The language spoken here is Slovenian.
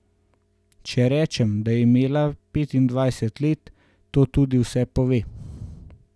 Če rečem, da je imela petindvajset let, to tudi vse pove.